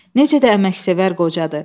"Necə də əməksevər qocadır.